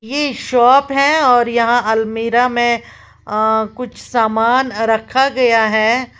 ये शॉप है और यहां अलमीरा में अ कुछ सामान रखा गया है।